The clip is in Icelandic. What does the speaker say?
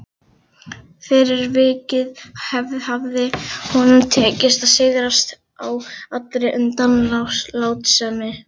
Fyrir vikið hafði honum tekist að sigrast á allri undanlátssemi.